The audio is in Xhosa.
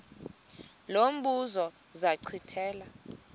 lo mbuzo zachithela